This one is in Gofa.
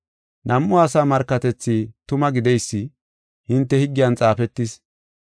Nam7u asa markatethi tuma gideysi hinte higgiyan xaafetis.